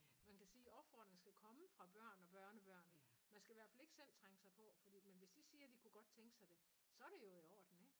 Man kan sige opfordringen skal komme fra børn og børnebørn. Man skal i hvert fald ikke selv trænge sig på fordi men hvis de siger de kunne godt tænke sig det så er det jo i orden ikke?